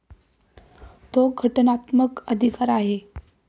तो घटनात्मक अधिकार आहे.